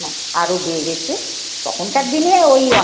আরো বেড়েছে। তখনকার দিনে ওই